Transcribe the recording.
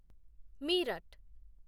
Meerut